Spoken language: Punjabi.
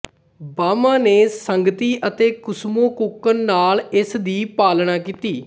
ਬਾਮਾ ਨੇ ਸੰਗਤੀ ਅਤੇ ਕੁਸੁਮੁਕੁਕਣ ਨਾਲ ਇਸ ਦੀ ਪਾਲਣਾ ਕੀਤੀ